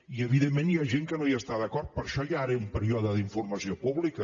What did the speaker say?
i evidentment hi ha gent que no hi està d’acord per això hi ha ara un període d’informació pública